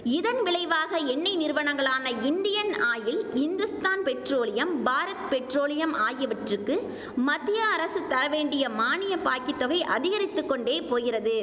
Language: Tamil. இதன் விளைவாக எண்ணெய் நிறுவனங்களான Indian oil Hindustan petroleum Bharat petroleum ஆகியவற்றுக்கு மத்திய அரசு தர வேண்டிய மானிய பாக்கித்தொகை அதிகரித்து கொண்டே போகிறது